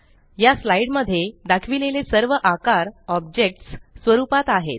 या स्लाईड मध्ये दाखविलेले सर्व आकार ऑब्जेक्ट्स स्वरूपात आहेत